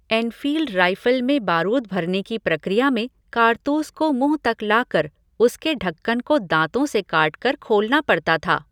Enfield rifle में बारूद भरने की प्रक्रिया में कारतूस को मुँह तक लाकर उसके ढक्कन को दाँतों से काटकर खोलना पड़ता था।